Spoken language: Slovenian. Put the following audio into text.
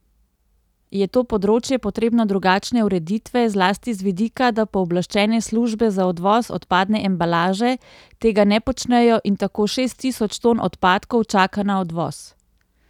Je to področje potrebno drugačne ureditve, zlasti z vidika, da pooblaščene službe za odvoz odpadne embalaže tega ne počnejo in tako šest tisoč ton odpadkov čaka na odvoz.